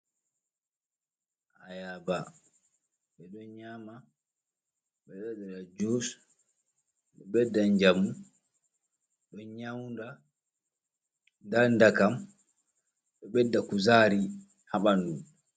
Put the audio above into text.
Ayaba ɓe ɗon nyama, ɓeɗo waɗira jus, ɗo ɓeda jamu, ɗon nyawda ndan dakam ɗo ɓedda kuzari ha ɓandu.